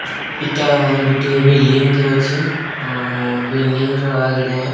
ଇଟା ଗୁଟିଏ ବିଲିଣ୍ଡିଙ୍ଗ ଟିଏ ଅଛେ। ଆଉ ବିଲିଣ୍ଡିଙ୍ଗ ର ଆଗେଡେ --